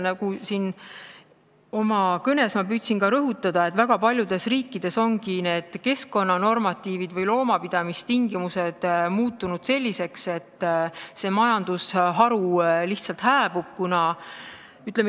Nagu ma oma kõnes püüdsin rõhutada, väga paljudes riikides ongi keskkonnanormatiivid või loomapidamistingimused muutunud selliseks, et see majandusharu lihtsalt hääbub.